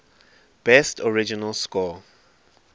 best original score